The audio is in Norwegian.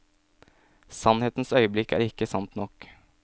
Sannhetens øyeblikk er ikke sant nok.